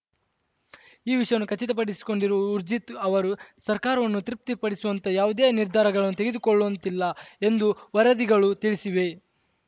ಈ ವಿಷಯವನ್ನು ಖಚಿತಪಡಿಸಿಕೊಂಡಿರುವ ಊರ್ಜಿತ್‌ ಅವರು ಸರ್ಕಾರವನ್ನು ತೃಪ್ತಿಪಡಿಸುವಂತಹ ಯಾವುದೇ ನಿರ್ಧಾರಗಳನ್ನು ತೆಗೆದುಕೊಳ್ಳುವಂತ್ತಿಲ್ಲ ಎಂದು ವರದಿಗಳು ತಿಳಿಸಿವೆ